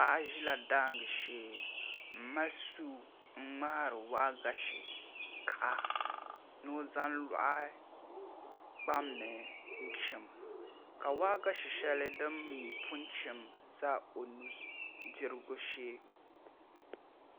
Paɣa ʒila daangi shee n mali suu n ŋmahari waagashe kaha ni o zaŋ loɣi kpam ni n chim ka waagashɛ shɛli din mii pun chim ʒɛ o nudirigu shee